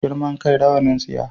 Girman kai rawanin tsiya